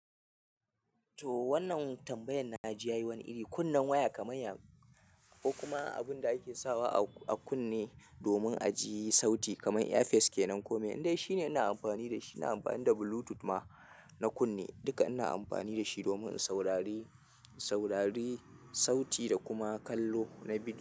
To wannan tambayan na ji ya yi wani iri. Kunnan waya kamar ya ko kuma abun da ake sawa a kunne domin a ji sauti kamar earpiece kenan kome indai shine ina amfani da shi. Ina amfani da Bluetooth ma na kunne duka ina amfani da shi domin in saurari saurari sauti da kuma kallo na bidiyo.